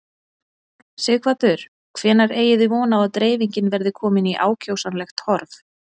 Sighvatur: Hvenær eigið þið von á að dreifingin verði komin í ákjósanlegt horf?